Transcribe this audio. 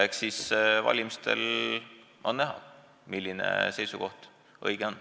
Eks siis valimistel on näha, milline seisukoht õige on.